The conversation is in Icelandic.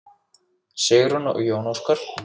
Sigrún og Jón Óskar.